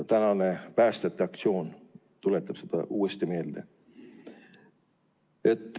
Tänane päästjate aktsioon tuletab seda uuesti meelde.